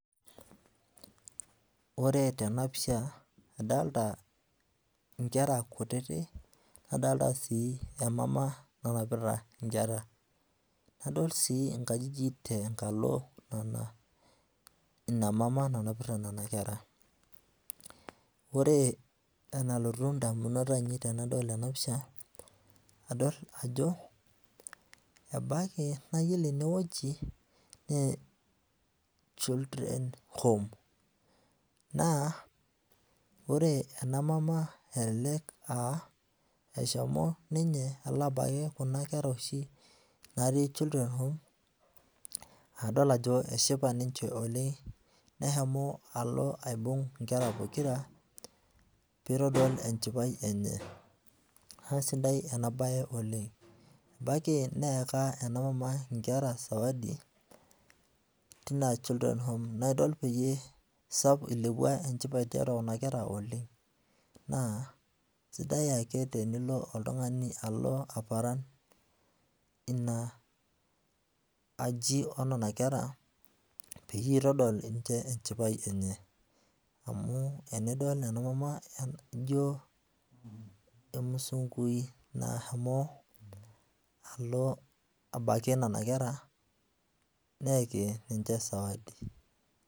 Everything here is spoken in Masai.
Ore tenapisha adolta nkera kutitik nadolita si emama enapita nkera nadol si nkajijik tenkalo inamama nanapita nona kera ore enalotu ndamunot ainei tanadol ena pisha adol ajo ebaki nayiolo eneweuji na children home na ore aa eshomo ninye abaki kuna kera natii children home adol ajo keshipa ninye oleng neshomo aibung nkera pokira pitodol enjipae enye na sidai enabae oleng ebaki neyaka enamama nkera sawadi naidol ilepuo enchipae tiatua nona kera oleng na sidai ake tenilo oltungani alo aparan aji onona kera peyie intodol ninchebenchipae enye amu enidol enamama ino emusungui nashomo abaki nona kera neyaki ninche sawadi.